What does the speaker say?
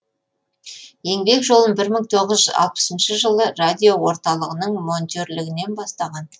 еңбек жолын бір мың тоғыз жүз алпысыншы жылы радиоорталығының монтерлігінен бастаған